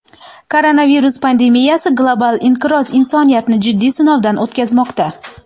Koronavirus pandemiyasi, global inqiroz insoniyatni jiddiy sinovdan o‘tkazmoqda.